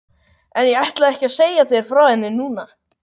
En ég ætla ekki að segja þér frá henni núna.